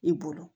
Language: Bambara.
I bolo